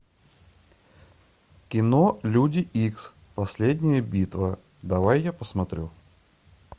кино люди икс последняя битва давай я посмотрю